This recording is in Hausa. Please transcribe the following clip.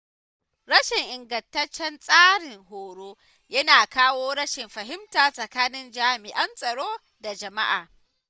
Rashin ingantaccen tsarin horo yana kawo rashin fahimta tsakanin jami’an tsaro da jama’a.